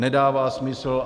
Nedává smysl.